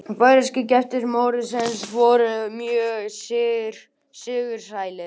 Færeyskir gestir mótsins voru mjög sigursælir